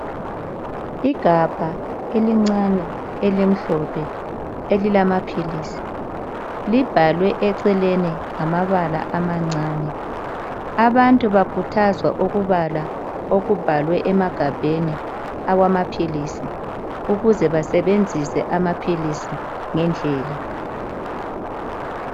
Igabha elincane elimhlophe elilamapiritsi Libhalwe eceleni lamabala amancane. Abantu bakuthazwa ukubala okubhalwe emadabheni awamaphilisi, ukuze basebenzise amapilisi ngedlela .